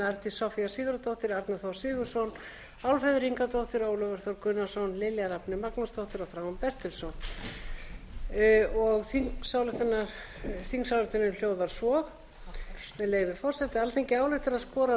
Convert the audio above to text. arndís soffía sigurðardóttir árni þór sigurðarson álfheiður ingadóttir ólafur þór gunnarsson lilja rafney magnúsdóttir og þráinn bertelsson þingsályktunin hljóðar svo með leyfi forseta alþingi ályktar að skora á